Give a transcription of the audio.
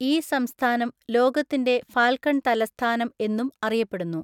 ഈ സംസ്ഥാനം 'ലോകത്തിന്റെ ഫാൽക്കൺ തലസ്ഥാനം' എന്നും അറിയപ്പെടുന്നു.